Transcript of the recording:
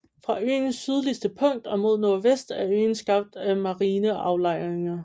Fra øens sydligste punkt og mod nordvest er øen skabt af marine aflejringer